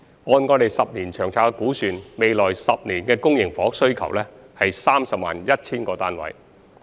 按未來10年的《長遠房屋策略》估算，下一個十年期的公營房屋需求是 301,000 個單位。